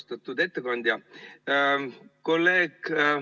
Austatud ettekandja!